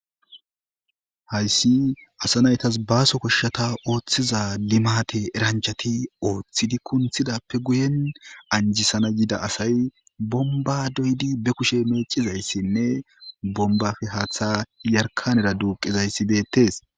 Haysi asa naytas baaso koshshata oothtiza limatte eranchati othidi kunthidape guyen anjisana yida asay bomba doyidi be kushe mecizaysinne bombappe haththa yarkkanera duqqizaysi beettes.